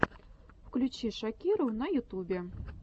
включи шакиру на ютубе